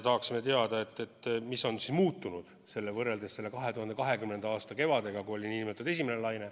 Tahame teada, mis on muutunud sellel kevadel võrreldes 2020. aasta kevadega, kui oli kriisi esimene laine.